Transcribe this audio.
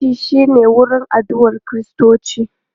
Coci shi ne wurin addu'a Kiristoci.